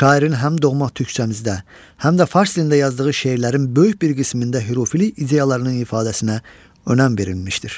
Şairin həm doğma türkcəmizdə, həm də fars dilində yazdığı şeirlərin böyük bir qismində hürufilik ideyalarının ifadəsinə önəm verilmişdir.